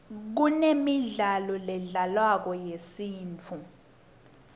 kunemidlalo ledlalwako yesintfu